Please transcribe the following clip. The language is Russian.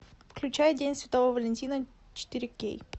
включай день святого валентина четыре кей